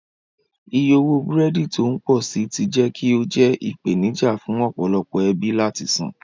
Iye owó búrẹ́dì tí ó ń pọ̀ sí i ti jẹ́ kí ó jẹ́ ìpèníjà fún ọ̀pọ̀lọpọ̀ ẹbí láti san.